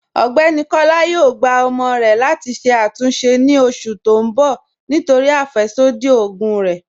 Ọgbẹ́ni Kọla yóò gbà ọ̀mọ rè láti ṣè àtúnṣe ni oṣù tì n bọ̀ nítorí afẹ́ṣodí ogun rè.